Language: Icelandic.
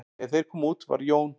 Þegar þeir komu út var Jón